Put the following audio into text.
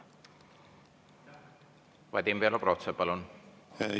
Vadim Belobrovtsev, palun!